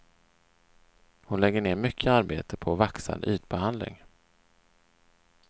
Hon lägger ner mycket arbete på vaxad ytbehandling.